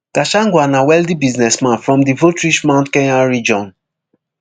gachagua na wealthy businessman from di voterich mount kenya region